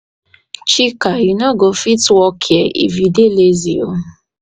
chika you no go fit work here if you dey lazy oo